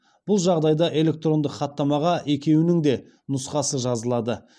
бұл жағдайда электрондық хаттамаға екеуінің де нұсқасы жазылады